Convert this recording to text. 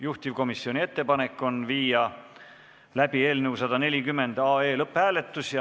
Juhtivkomisjoni ettepanek on viia läbi eelnõu 140 lõpphääletus.